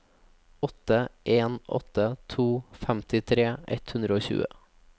åtte en åtte to femtitre ett hundre og tjue